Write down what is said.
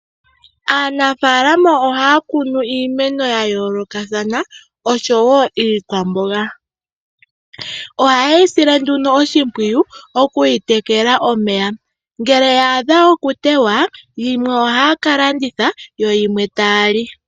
Aanafalama ohaya kunu iimeno ya yoolokathana, oshowo iikwamboga. Ohayeyi sile nduno oshimpwiyu, okuyi tekela omeya. Ngele ya adha okutewa, yimwe ohaya ka landitha, yo yimwe taya li.